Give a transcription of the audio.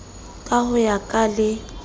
ka ho ya ka le